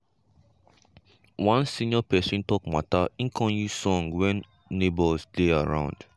one senior pesin talk mata e con use old song when neighbours dey around.